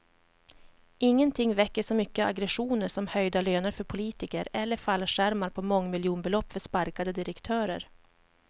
Ingenting väcker så mycket aggressioner som höjda löner för politiker eller fallskärmar på mångmiljonbelopp för sparkade direktörer.